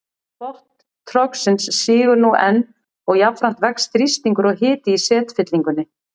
Botn trogsins sígur nú enn og jafnframt vex þrýstingur og hiti í setfyllingunni.